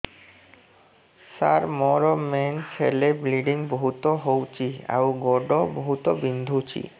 ସାର ମୋର ମେନ୍ସେସ ହେଲେ ବ୍ଲିଡ଼ିଙ୍ଗ ବହୁତ ହଉଚି ଆଉ ଗୋଡ ବହୁତ ବିନ୍ଧୁଚି